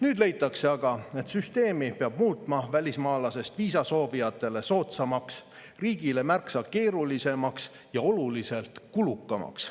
Nüüd leitakse aga, et süsteemi peab muutma välismaalasest viisasoovijatele soodsamaks, riigile märksa keerulisemaks ja oluliselt kulukamaks.